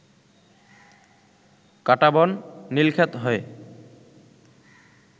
কাঁটাবন, নীলক্ষেত হয়ে